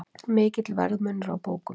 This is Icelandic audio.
Mikill verðmunur á bókum